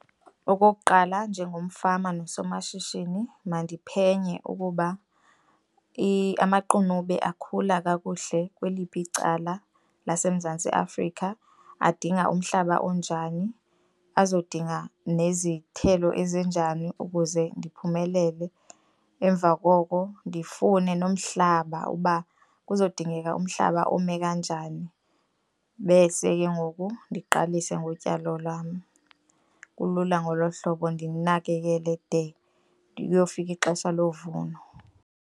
Okokuqala, njengomfama nosomashishini mandiphenye ukuba amaqunube akhula kakuhle kweliphi icala laseMzantsi Afrika, adinga umhlaba onjani, azodinga nezithelo ezinjani ukuze ndiphumelele. Emva koko, ndifune nomhlaba uba kuzawudingeka umhlaba ome kanjani bese ke ngoku ndiqalise ngotyalo lwam. Kulula ngolo hlobo ndilinakekele de kuyofika ixesha lovuno.